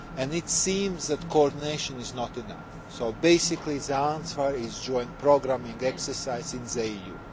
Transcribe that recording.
country. It seems that coordination is not enough, so basically the answer is joint programming exercises in